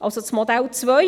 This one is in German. das wäre das Modell 2